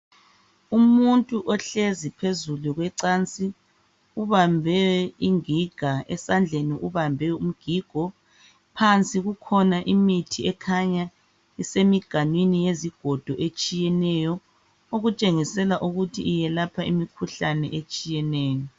Umuntu ohlezi phezulu kwecansi ubambe igiga esandleni ubambe umgigo phansi kukhona imithi ekhanya isemiganwini yezigodo etshiyeneyo okutshengisela ukuthi iyelapha imikhuhlane etshiyeneyo.